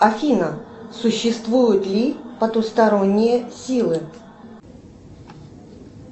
афина существуют ли потусторонние силы